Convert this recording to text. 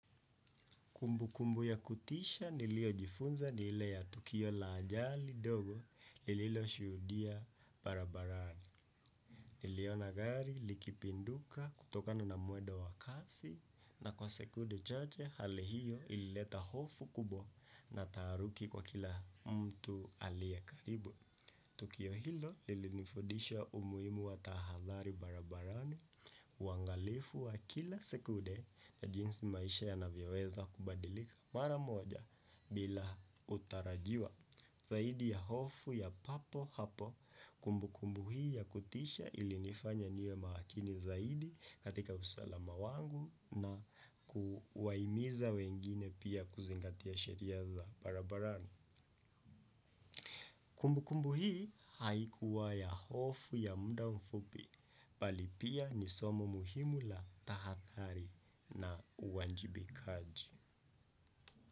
Kumbu kumbu ya kutisha nilio jifunza ni ile ya tukio la ajali dogo lililo shuhudia barabarani. Niliona gari likipinduka kutokana na mwedo wa kasi na kwa sekude chache hali hiyo ilileta hofu kubwa na taharuki kwa kila mtu aliye karibu. Tukio hilo lilinifudisha umuhimu watahadhari barabarani uangalifu wa kila sekude na jinsi maisha ya navyoweza kubadilika mara moja bila utarajiwa zaidi ya hofu ya papo hapo kumbu kumbu hii ya kutisha ilinifanya niwe maakini zaidi katika usalama wangu na kuwahimiza wengine pia kuzingatia sheria za barabarani. Kumbu kumbu hii haikuwa ya hofu ya mda mfupi bali pia ni somo muhimu la tahadhari na uwanjibikaji.